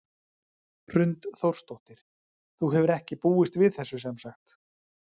Hrund Þórsdóttir: Þú hefur ekki búist við þessu sem sagt?